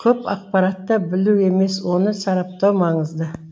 көп ақпаратта білу емес оны сараптау маңызды